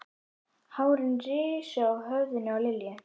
Hárin risu á höfðinu á Lillu.